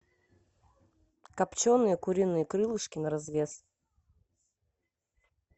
копченые куриные крылышки на развес